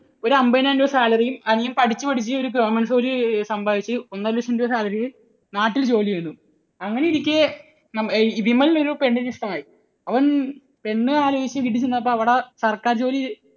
അൻപതിനായിരം രൂപ salary യും അനിയൻ പഠിച്ചു പഠിച്ച് ഒരു government ജോലി സമ്പാദിച്ച് ഒന്നരലക്ഷം രൂപ salary യും. നാട്ടിൽ ജോലി ചെയ്യുന്നു. അങ്ങനെയിരിക്കെ വിമലിന് ഒരു പെണ്ണിനെ ഇഷ്ടമായി. അവൻ പെണ്ണ് ആലോചിച്ച് വീട്ടിൽ ചെന്നപ്പോൾ അവിടെ സർക്കാർ ജോലി